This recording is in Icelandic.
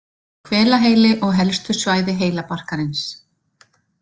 Hvelaheili og helstu svæði heilabarkarins.